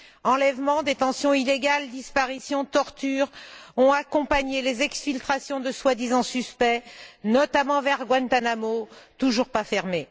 Enlèvements, détentions illégales, disparitions, tortures ont accompagné les exfiltrations de soi disant suspects, notamment vers Guantanamo, toujours pas fermé.